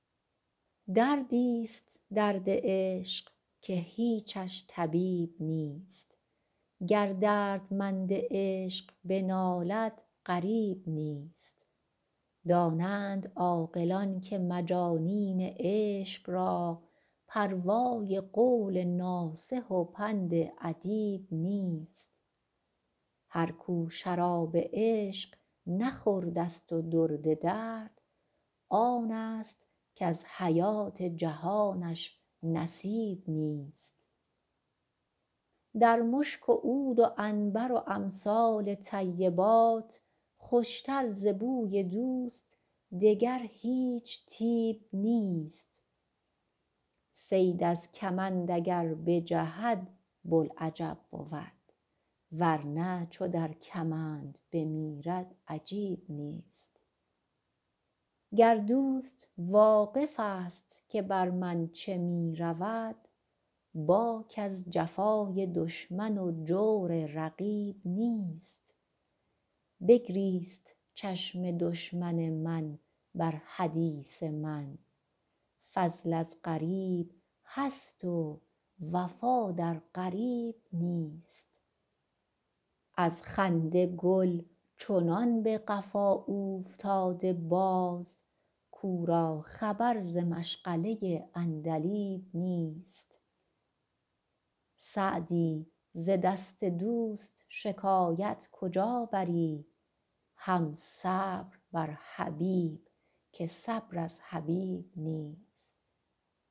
دردی ست درد عشق که هیچش طبیب نیست گر دردمند عشق بنالد غریب نیست دانند عاقلان که مجانین عشق را پروای قول ناصح و پند ادیب نیست هر کو شراب عشق نخورده ست و درد درد آن ست کز حیات جهانش نصیب نیست در مشک و عود و عنبر و امثال طیبات خوش تر ز بوی دوست دگر هیچ طیب نیست صید از کمند اگر بجهد بوالعجب بود ور نه چو در کمند بمیرد عجیب نیست گر دوست واقف ست که بر من چه می رود باک از جفای دشمن و جور رقیب نیست بگریست چشم دشمن من بر حدیث من فضل از غریب هست و وفا در قریب نیست از خنده گل چنان به قفا اوفتاده باز کو را خبر ز مشغله عندلیب نیست سعدی ز دست دوست شکایت کجا بری هم صبر بر حبیب که صبر از حبیب نیست